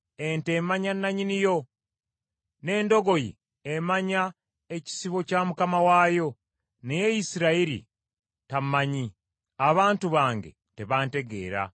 Ente emanya nannyini yo n’endogoyi emanya ekisibo kya mukama waayo, naye Isirayiri tammanyi, abantu bange tebantegeera.”